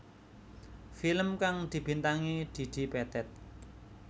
Film kang dibintangi Didi Petet